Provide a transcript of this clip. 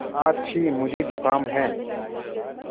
आछि मुझे ज़ुकाम है